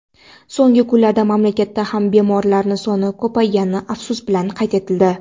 so‘nggi kunlarda mamlakatda ham bemorlar soni ko‘paygani afsus bilan qayd etildi.